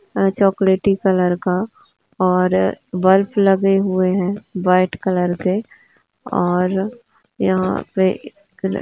अ चॉकलेटी कलर का और बल्ब लगे हुए है व्हाइट कलर के और यहाँ पे एक --